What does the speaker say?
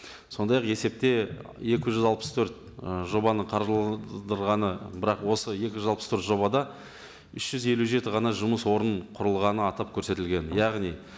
сондай ақ есепте екі жүз алпыс төрт ы жобаны бірақ осы екі жүз алпыс төрт жобада үш жүз елу жеті ғана жұмыс орын құрылғаны атап көрсетілген яғни